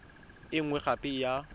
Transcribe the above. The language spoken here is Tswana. e nngwe gape e ya